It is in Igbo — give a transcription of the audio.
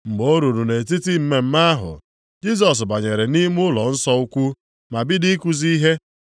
Mgbe o ruru nʼetiti mmemme ahụ, Jisọs banyere nʼime ụlọnsọ ukwu ma bido ikuzi ihe.